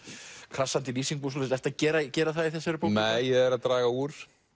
krassandi lýsingum og svoleiðis ertu að gera gera það í þessari bók nei ég er að draga úr